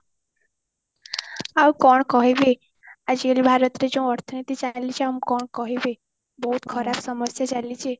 ଆଉ କଣ କହିବି ଆଜିକାଲି ଭାରତରେ ଯୋଉ ଅର୍ଥନୀତି ଚାଲିଛି ଆଉ ମୁଁ କଣ କହିବି ବହୁତ ଖରାପ ସମସ୍ଯା ଚାଲିଛି